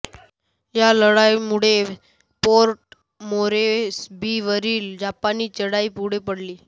या लढाईमुळे पोर्ट मोरेस्बीवरील जपानी चढाई पुढे पडली